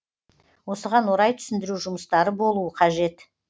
осыған орай түсіндіру жұмыстары болуы қажет